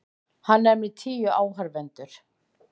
Hann er með tíu áhorfendur.